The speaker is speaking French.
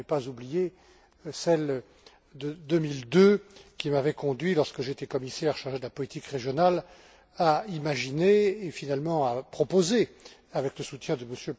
Mais je n'ai pas oublié celles de 2002, qui m'avaient conduit, lorsque j'étais commissaire chargé de la politique régionale, à imaginer, et finalement à proposer, avec le soutien de M.